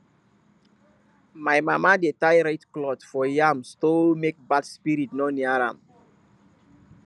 my mama dey tie red cloth for yam store make bad spirit no near am